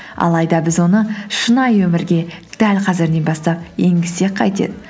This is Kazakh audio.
алайда біз оны шынайы өмірге дәл қазірден бастап енгізсек қайтеді